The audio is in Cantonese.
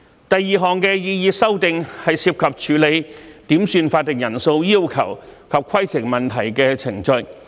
第二項擬議修訂，是涉及處理點算法定人數要求及規程問題的程序。